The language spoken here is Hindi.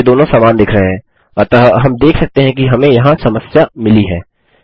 वे दोनों समान दिख रहे हैं अतः हम देख सकते हैं कि हमें यहाँ समस्या मिली है